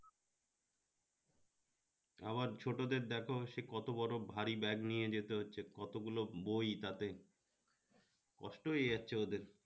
আবার ছোটদের দেখো সে কত বড় ভারী bag নিয়ে যেতে হচ্ছে কতগুলো বই তাতে কষ্ট হয়ে যাচ্ছে ওদের